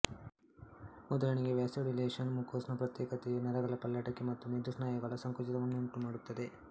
ಉದಾಹರಣೆಗೆ vasodilation mucus ನ ಪ್ರತ್ಯೇಕತೆಯು ನರಗಳ ಪಲ್ಲಟಕ್ಕೆ ಮತ್ತು ಮೆದು ಸ್ನಾಯುಗಳ ಸಂಕುಚಿತವನ್ನುಂಟು ಮಾಡುತ್ತದೆ